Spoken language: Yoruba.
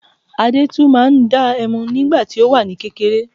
Adẹ́tù máa ń dá ẹmu nígbà tí ó wà ní kékeré